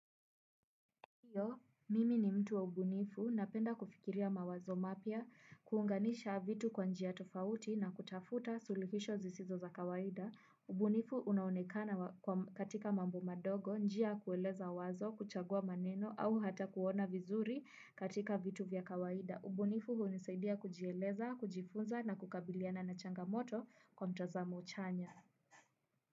Hiyo, mimi ni mtu wa ubunifu, napenda kufikiria mawazo mapya, kuunganisha vitu kwa njia tofauti na kutafuta suluhisho zisizo za kawaida. Ubunifu unaonekana katika mambo madogo, njia kueleza wazo, kuchagua maneno au hata kuona vizuri katika vitu vya kawaida. Ubunifu unisaidia kujieleza, kujifunza na kukabiliana na changamoto kwa mtazamo chanya.